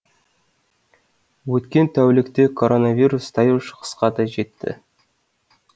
өткен тәулікте коронавирус таяу шығысқа да жетті